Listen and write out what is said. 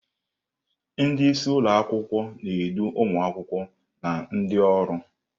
Ndị isi ụlọ akwụkwọ na-edu ụmụ akwụkwọ na ndị ọrụ.